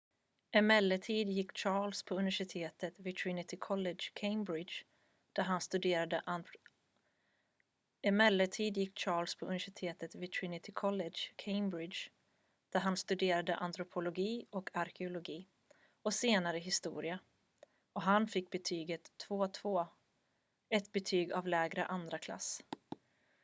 emellertid gick charles på universitetet vid trinity college cambridge där han studerade antropologi och arkeologi och senare historia och fick betyget 2:2 ett betyg av lägre andraklass